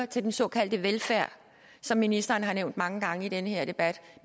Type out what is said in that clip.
til den såkaldte velfærd som ministeren har nævnt mange gange i den her debat